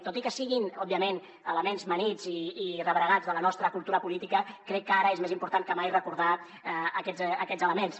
tot i que siguin òbviament elements amanits i rebregats de la nostra cultura política crec que ara és més important que mai recordar aquests elements